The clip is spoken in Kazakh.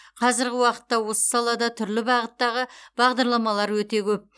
қазіргі уақытта осы салада түрлі бағыттағы бағдарламалар өте көп